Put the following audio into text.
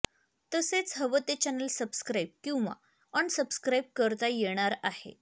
तसेच हवं ते चॅनेल सबस्क्राइब किंवा अनसबस्क्राइब करता येणार आहे